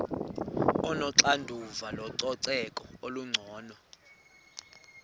onoxanduva lococeko olungcono